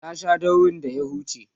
ta Sha daurin da ya huce